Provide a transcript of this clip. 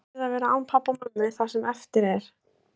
Þó hann yrði að vera án pabba og mömmu það sem eftir var.